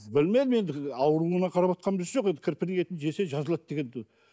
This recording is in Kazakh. білмедім енді ауруына қараватқан біз жоқ енді кірпінің етін жесе жазылады дегенді